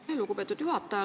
Aitäh, lugupeetud juhataja!